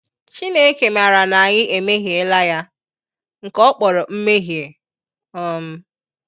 Chineke mara na-anyi emehie la ya, nke ọ kpọrọ nmehie. um